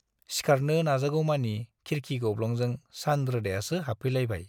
सिखारनो नाजागौमानि खिरखि गब्लंजों सान रोदायासो हाबफैलायबाय।